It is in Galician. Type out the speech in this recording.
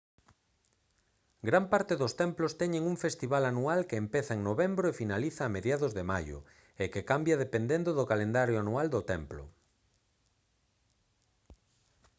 gran parte dos templos teñen un festival anual que empeza en novembro e finaliza a mediados de maio e que cambia dependendo do calendario anual do templo